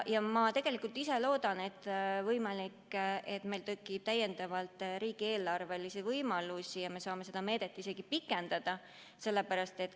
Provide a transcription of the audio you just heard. Ma ise loodan, et ehk meil tekib täiendavalt riigieelarvelisi võimalusi ja me saame seda meedet isegi pikendada.